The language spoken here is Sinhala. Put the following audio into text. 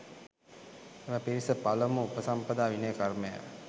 එම පිරිස පළමු උපසම්පදා විනය කර්මය